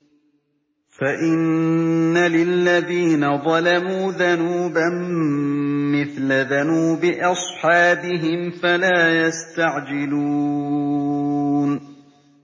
فَإِنَّ لِلَّذِينَ ظَلَمُوا ذَنُوبًا مِّثْلَ ذَنُوبِ أَصْحَابِهِمْ فَلَا يَسْتَعْجِلُونِ